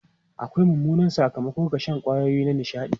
Akwai mummunan sakamako ga shan kwayoyi na nishaɗi.